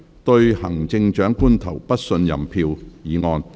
"對行政長官投不信任票"議案。